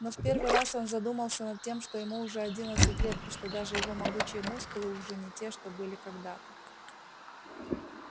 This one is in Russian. но в первый раз он задумался над тем что ему уже одиннадцать лет и что даже его могучие мускулы уже не те что были когда-то